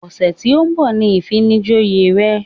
Ọ̀sẹ̀ tí ó ń bọ̀ ni ìfinijoyè rẹ̀